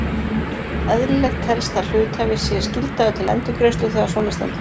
Eðlilegt telst að hluthafi sé skyldaður til endurgreiðslu þegar svona stendur á.